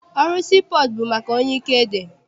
Ọrụ sii pọọtụ bụ maka onye ike dị.